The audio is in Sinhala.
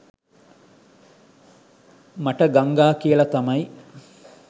මට ගංගා කියලා තමයි